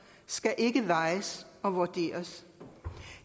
skal ikke vejes og vurderes